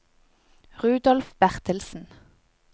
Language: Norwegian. Rudolf Bertelsen